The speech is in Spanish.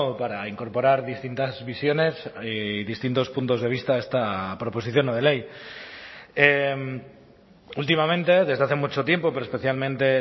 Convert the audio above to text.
para incorporar distintas visiones y distintos puntos de vista a esta proposición no de ley últimamente desde hace mucho tiempo pero especialmente